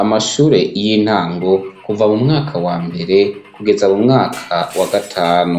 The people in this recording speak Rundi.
amashure y'intango kuva mu mwaka wa mbere kugeza mu mwaka wa gatanu